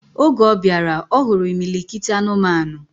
Oge obiara, ohuru imilikiti anụmanụ.